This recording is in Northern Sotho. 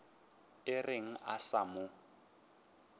o reng a sa mo